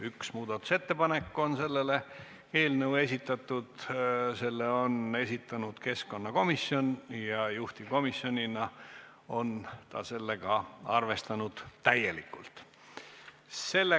Üks muudatusettepanek on selle eelnõu kohta esitatud, selle on esitanud keskkonnakomisjon ja juhtivkomisjonina on ta seda täielikult arvestanud.